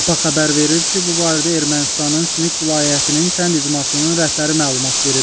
APA xəbər verir ki, bu barədə Ermənistanın Süq vilayətinin kənd icmasının rəhbəri məlumat verib.